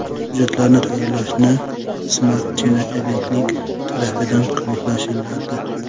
Hujjatlarni tayyorlashni Smart China agentlik tarafidan ko‘maklashiladi.